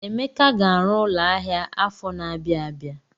Emeka ga-arụ ụlọ ahịa afọ na-abịa abịa.